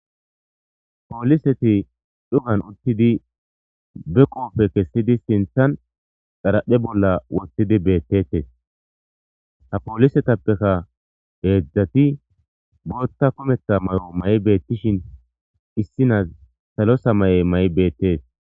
pooliseti dhugan uttidi be qoofe kessidi sinthan xaraphe bolla wottidi beettetes ha poolisetappeka heedzdzati bootta kumetha mayo mayi7e beettishin issinas salo samay7e mayi7e beettees